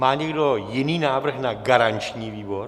Má někdo jiný návrh na garanční výbor?